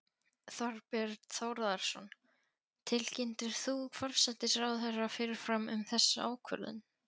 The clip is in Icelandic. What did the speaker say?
Þorbjörn Þórðarson: Tilkynntir þú forsætisráðherra fyrirfram um þessa ákvörðun?